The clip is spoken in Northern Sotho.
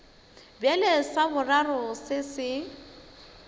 bjale sa boraro se se